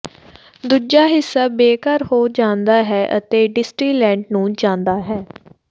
ਦੂਜਾ ਹਿੱਸਾ ਬੇਘਰ ਹੋ ਜਾਂਦਾ ਹੈ ਅਤੇ ਡਿਸਟਿਲੈਟ ਨੂੰ ਜਾਂਦਾ ਹੈ